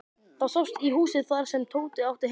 Það sást í húsið þar sem Tóti átti heima.